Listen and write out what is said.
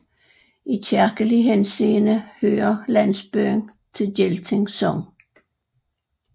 I kirkelig henseende hører landsbyen til Gelting Sogn